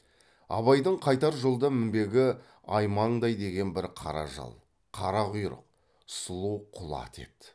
абайдың қайтар жолда мінбегі аймаңдай деген бір қара жал қара құйрық сұлу құла ат еді